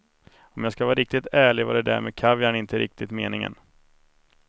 Om jag ska vara riktigt ärlig var det där med kaviaren inte riktigt meningen.